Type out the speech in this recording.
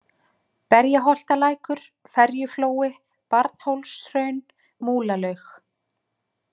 Berjaholtalækur, Ferjuflói, Barnhólshraun, Múlalaug